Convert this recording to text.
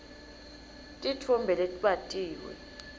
titfombe letbatiwe